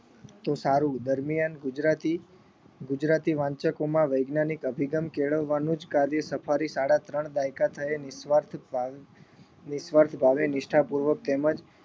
તો સારું. દરમિયાન ગુજરાતી ગુજરાતી વાંચકોમાં વૈજ્ઞાનિક અભિગમ કેળવવાનું જ કાર્ય સફારી સાડા ત્રણ દાયકા થયે નિસ્વાર્થ ભા નિસ્વાર્થ ભાવે નિષ્ઠાપૂર્વક તેમજ